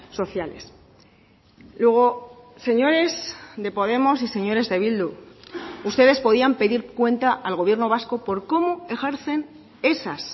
sociales luego señores de podemos y señores de bildu ustedes podían pedir cuenta al gobierno vasco por cómo ejercen esas